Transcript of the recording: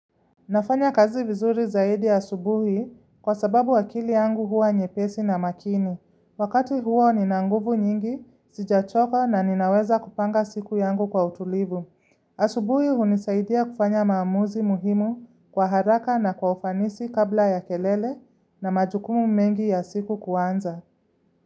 Nafanya kazi vizuri zaidi asubuhi kwa sababu akili yangu huwa nyepesi na makini. Wakati huo ni nanguvu nyingi, sijachoka na ninaweza kupanga siku yangu kwa utulivu. Asubuhi hunisaidia kufanya maamuzi muhimu kwa haraka na kwa ufanisi kabla ya kelele na majukumu mengi ya siku kuanza.